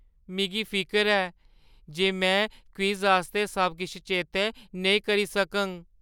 मिगी फिकर ऐ जे में क्विज़ आस्तै सब किश चेतै नेईं करी सकङ।